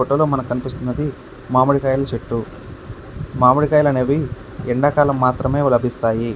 మామిడి కాయాలు అనేది ఎండాకాలంలో మాత్రమే లభిస్తాయి.